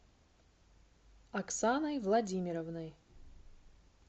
оксаной владимировной